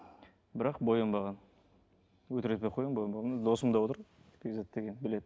бірақ боянбаған өтірік айтпай ақ қояйын боянбаған міне досым да отыр бекзат деген біледі